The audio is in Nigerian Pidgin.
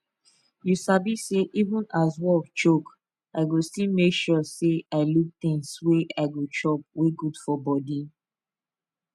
you sabi say even as work choke i go still make sure say i look things wey i go chop wey good for body